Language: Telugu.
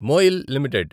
MOIL limited